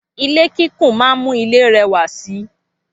Ilé kíkùn máa ń mú ilé rẹwà si.